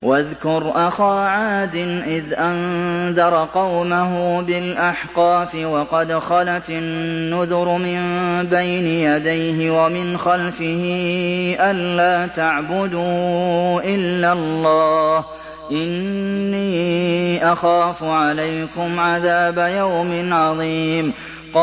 ۞ وَاذْكُرْ أَخَا عَادٍ إِذْ أَنذَرَ قَوْمَهُ بِالْأَحْقَافِ وَقَدْ خَلَتِ النُّذُرُ مِن بَيْنِ يَدَيْهِ وَمِنْ خَلْفِهِ أَلَّا تَعْبُدُوا إِلَّا اللَّهَ إِنِّي أَخَافُ عَلَيْكُمْ عَذَابَ يَوْمٍ عَظِيمٍ